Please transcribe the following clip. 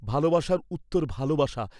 ভালবাসার উত্তর ভালবাসা।